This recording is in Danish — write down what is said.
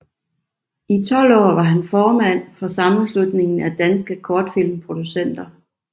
I tolv år var han formand for Sammenslutningen af Danske Kortfilmproducenter